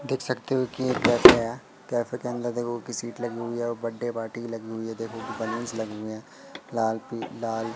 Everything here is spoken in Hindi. देख सकते हो कि एक कैफे हैं। कॅफे के अंदर देखो किसीट लगी हुई है और बर्थडे पार्टी लगी हुई है। देखो बलुंस लगे हुए हैं। लाल पि लाल--